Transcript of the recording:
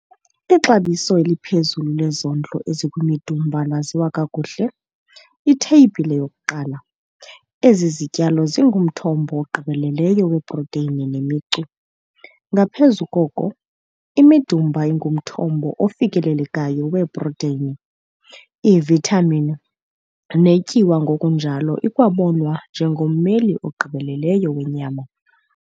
Ixabiso eliphezulu lezondlo ezikwimidumba laziwa kakuhle Itheyibhile 1. Ezi zityalo zingumthombo ogqibeleleyo weprotheyini nemicu. Ngaphezu koko, imidumba ingumthombo ofikelelekayo weeprotheyini, iivithamin neetyuwa ngokunjalo ikwabonwa njengommeli ogqibeleleyo wenyama.